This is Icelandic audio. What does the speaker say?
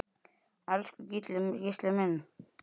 Elsku Gísli minn.